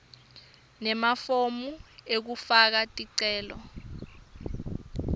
nemafomu ekufaka ticelo